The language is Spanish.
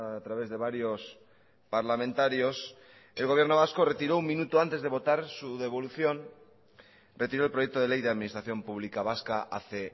a través de varios parlamentarios el gobierno vasco retiró un minuto antes de votar su devolución retiró el proyecto de ley de administración pública vasca hace